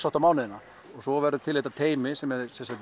átta mánuðina svo verður til þetta teymi sem er